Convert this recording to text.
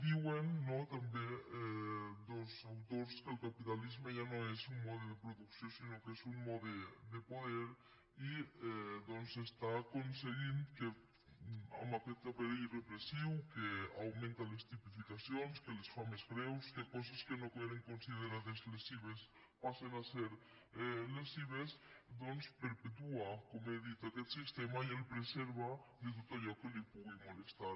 diuen no també dos autors que el capitalisme ja no és un mode de producció sinó que és un mode de poder i que doncs està aconseguint que amb aquest aparell repressiu que augmenta les tipificacions que les fa més greus que coses que no eren considerades lesives passen a ser lesives doncs perpetua com he dit aquest sistema i el preserva de tot allò que li pugui molestar